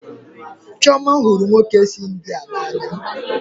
Chioma hụrụ ndị nwoke si India n'anya